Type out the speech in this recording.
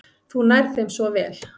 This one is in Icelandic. Þú nærð þeim svo vel.